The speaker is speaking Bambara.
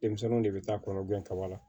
Denmisɛnninw de bɛ taa kɔnɔ gɛn kaba la